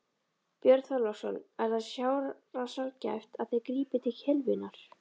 Björn Þorláksson: Er það sárasjaldgæft að þið grípið til kylfunnar?